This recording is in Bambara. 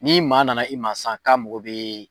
Ni maa nana i ma san, ka mɔgɔ be